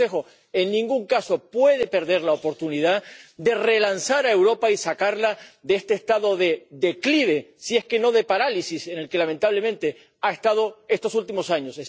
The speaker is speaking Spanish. Pero el Consejo en ningún caso puede perder la oportunidad de relanzar a Europa y sacarla de este estado de declive, si no de parálisis, en el que lamentablemente ha estado estos últimos años.